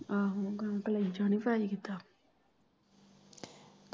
ਆਹੋ ਅਹੀਂ ਕਲੇਜਾ ਨੀ ਫਰਾਈ ਕੀਤਾ।